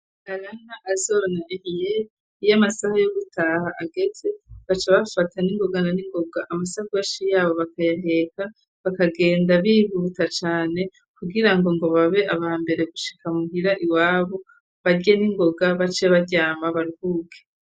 Arana azona iyo amasaha yo gutaha ageze baca bafata n'ingoga na n'ingoga amasakoshi yabo bakayaheka bakagenda bihuta cane kugirango ngo babe aba mbere gushika muhira iwabu barye n'ingoga bace baryama baruhuke.